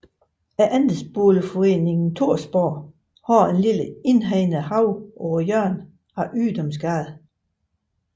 Andelsboligforeningen Thorsborg har en lille indhegnet have på hjørnet af Ydunsgade